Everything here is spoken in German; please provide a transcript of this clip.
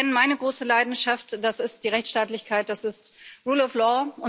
Sie kennen meine große Leidenschaft Das ist die Rechtsstaatlichkeit, das ist rule of law.